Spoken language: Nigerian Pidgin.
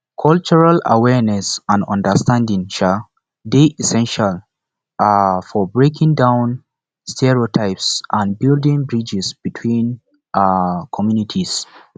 cultural awareness and understanding um dey essential um for breaking down stereotypes and building bridges between um communities